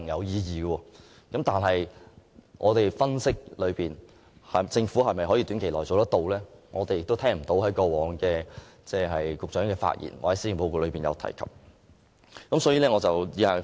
然而，根據我們分析，政府未必能在短期內做到這一點，而局長過往的發言或施政報告中亦未曾提及。